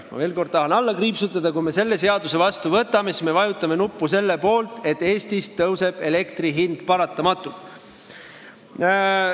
Ma tahan veel kord alla kriipsutada, et kui me selle seaduse vastu võtame, siis me vajutame nuppu selle poolt, et Eestis elektri hind paratamatult tõuseb.